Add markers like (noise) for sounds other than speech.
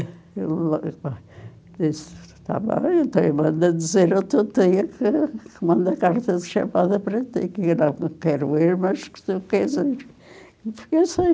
(unintelligible) E ele disse, está bem, então eu mando a dizer ao teu tio que que manda carta de chamada para ti, que não quero ir, mas que tu queres ir. (unintelligible)